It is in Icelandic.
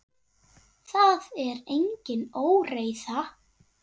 Það er engin óreiða.